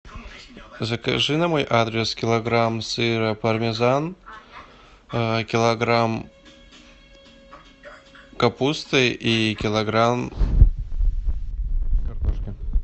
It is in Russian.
закажи на мой адрес килограмм сыра пармезан килограмм капусты и килограмм картошки